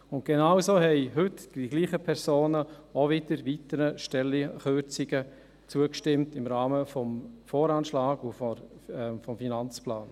Und genauso haben heute dieselben Personen auch wieder weiteren Stellenkürzungen zugestimmt, im Rahmen des Voranschlags und des Finanzplans.